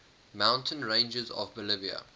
mountain ranges of bolivia